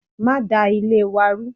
Ma da Ilé wa rú